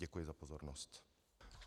Děkuji za pozornost.